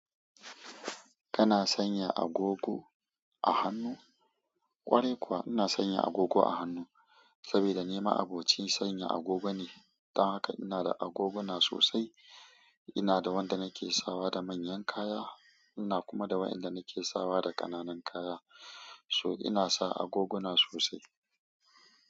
Kana sanya agogo a hannu? Ƙwarai kuwa, ina sanya agogo a hannu saboda ni ma'abocin sanya agogo ne. Dan haka ina da agoguna sosai. Ina da wanda nake sawa da manyan kaya, ina kuma da waɗanda nake sawa da ƙananan kaya. So ina sa agoguna sosai.